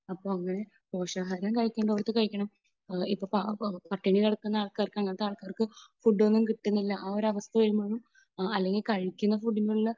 അപ്പോൾ അങ്ങനെ പോഷകാഹാരം കഴിക്കേണ്ടത് കഴിക്കണം. ഇപ്പോൾ പട്ടിണി കിടക്കുന്ന ആൾക്കാർക്ക് അങ്ങനത്തെ ആൾക്കാർക്ക് ഫുഡ് ഒന്നും കിട്ടുന്നില്ല. ആ ഒരു അവസ്ഥ വരുമ്പോൾ അല്ലെങ്കിൽ കഴിക്കുന്ന ഫുഡിന്റെ ഉള്ളിൽ